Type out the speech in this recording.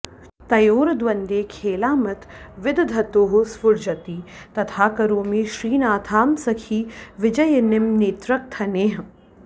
तयोर्द्वन्द्वे खेलामथ विदधतोः स्फूर्जति तथा करोमि श्रीनाथां सखि विजयिनीं नेत्रकथनैः